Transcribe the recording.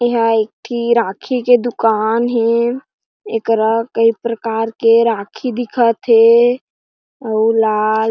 ए हा एक ठी राखी के दुकान हे ये करा के एक प्रकार के राखी दिखथ हे ओ लाल--